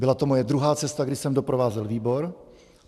Byla to moje druhá cesta, kdy jsem doprovázel výbor.